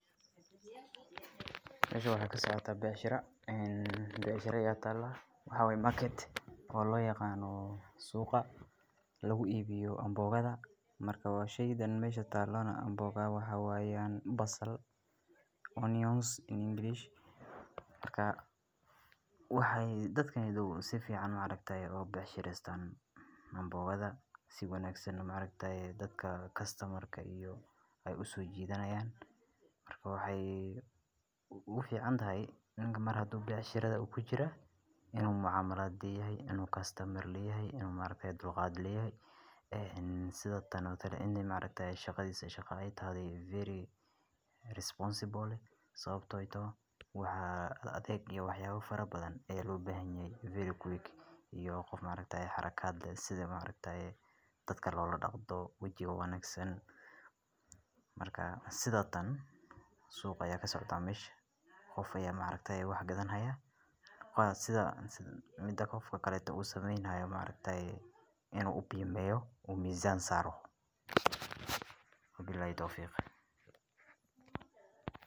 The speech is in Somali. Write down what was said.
Halkan waxaa kasocda becshira ee becshira aya tala waxaa waye market oo loyaqano suqa lagu ibiyo anbahodha, marka sheygan mesha talana maxaa waye basal onions in English waxee dadka si fican iga becshirestan an bogadha si wanagsan ee maragtaye dadka kastamarka ee uso jitan marka wxee ogu ficantahay nika hadu mar becshirada kujira in macamalad leyhay in u kastamar leyahay ee sithan oo kale in shaqadhisa ee tahay very responsible waxaa yele sawabto ee tahay waxaa aad adadheg iyo waxyalahas aya lobahan yahay very quick iyo qof maaragtaye harakaad leh sitha dadka lola daqdo wajiga wanagsan marka sitha tan suq aya kasocda mesh qof aya wax gadanu haya mida qofka kale usameyni hayo u ubimeyni hayo u mizan saro wabilahi towfiq.